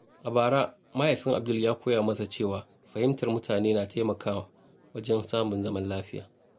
A bara, Mahaifin Abdul ya koya masa cewa fahimtar mutane na taimakawa wajen samun zaman lafiya.